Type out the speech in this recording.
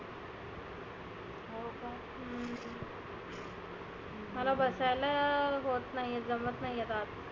मला बसायला होत नाहिए जमत नाही आत.